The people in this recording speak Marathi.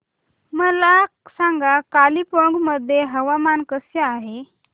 मला सांगा कालिंपोंग मध्ये हवामान कसे आहे